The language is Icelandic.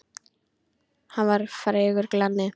Hann var frægur glanni.